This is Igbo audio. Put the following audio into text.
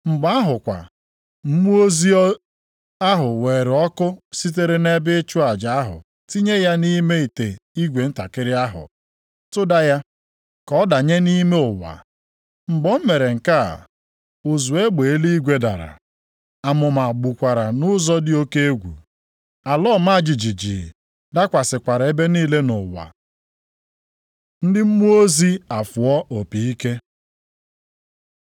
Mgbe ahụ kwa, mmụọ ozi ahụ weere ọkụ sitere nʼebe ịchụ aja ahụ tinye ya nʼime ite igwe ntakịrị ahụ, tụda ya, ka ọ danye nʼime ụwa. Mgbe o mere nke a, ụzụ egbe eluigwe dara, amụma gbukwara nʼụzọ dị oke egwu. Ala ọma jijiji dakwasịkwara ebe niile nʼụwa. Ndị mmụọ ozi afụọ opi ike